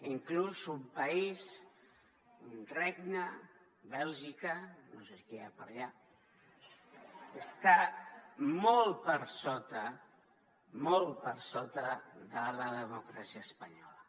inclús un país un regne bèlgica no sé qui hi ha per allà està molt per sota de la democràcia espanyola